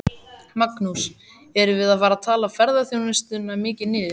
Magnús: Erum við að tala ferðaþjónustuna mikið niður?